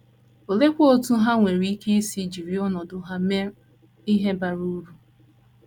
Oleekwa otú ha nwere ike isi jiri ọnọdụ ha mee ihe bara uru?